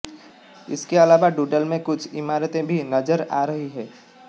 इसके अलावा डूडल में कुछ इमारतें भी नजर आ रही हैं